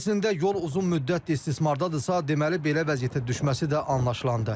Əslində yol uzun müddətdir istismardadırsa, deməli belə vəziyyətə düşməsi də anlaşılandı.